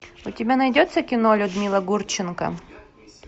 у тебя найдется кино людмила гурченко